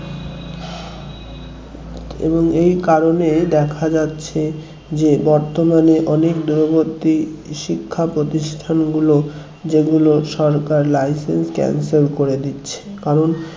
এবং এই কারণেই দেখা যাচ্ছে যে বর্তমানে অনেক দূরবর্তী শিক্ষা প্রতিষ্ঠানগুলো যেগুলো সরকার licence cancel করে দিচ্ছে কারণ